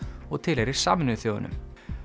og tilheyrir Sameinuðu þjóðunum